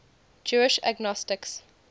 jewish agnostics